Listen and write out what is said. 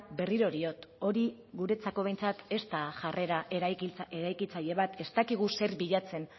berriro diot hori guretzako behintzat ez da jarrera eraikitzaile bat ez dakigu zer bilatzen